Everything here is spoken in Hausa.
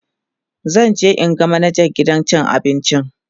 zanje in ga manajan gidan cin abincin